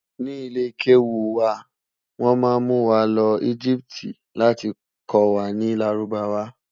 ní ilè kewu wà, wọn má mú wà ló egipti láti kò wà nì lárúbáwá